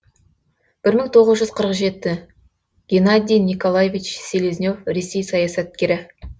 бір мың тоғыз жүз қырық жеті геннадий николаевич селезнев ресей саясаткері